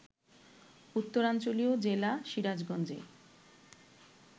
উত্তরাঞ্চলীয় জেলা সিরাজগঞ্জে